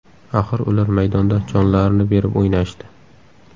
Axir ular maydonda jonlarini berib o‘ynashdi.